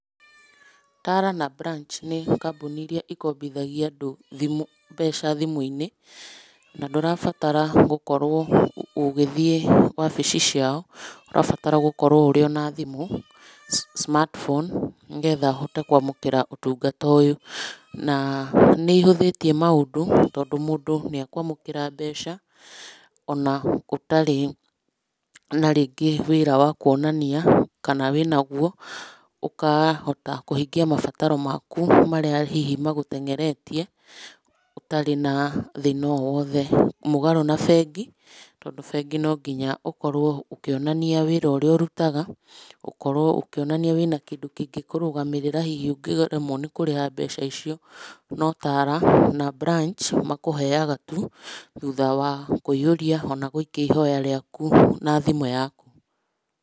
Tala na Branch nĩ kambuni iria ikombithagia andũ, mbeca thimũ-inĩ na ndũrabatara gũkorwo ũgĩthie wabici ciao, ũrabatara gũkorwo ũrĩo na thimũ smartphone nĩgetha uhote kwa mũkĩra ũtũngata ũyũ na nĩ ihuthĩtie maũndũ tondũ mũndũ nĩekwamũkira mbeca ona ũtarĩ na rĩngĩ wĩra wa kũonania kana wĩnagũo ũkahota kũhingia mabataro maku hihi marĩa maguteng'eretie ũtarĩ na thina owothe. Mũgarũ na bengi, tondũ bengi no nginya ũkorwo ũkĩonania wĩra ũrĩa ũrũtaga, ũkorwo ũkĩonania wĩna kĩndũ kĩngĩkũrũgamĩrĩra hihi ũngĩremwo nĩ kũrĩha mbeca icio. NoTala na Branch makũheaga tũ thutha wa kũihũria ona gũikĩa ihoya rĩakũ na thimũ yakũ.